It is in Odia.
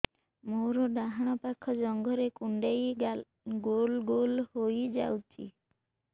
ମୋର ଡାହାଣ ପାଖ ଜଙ୍ଘରେ କୁଣ୍ଡେଇ ଗୋଲ ଗୋଲ ହେଇଯାଉଛି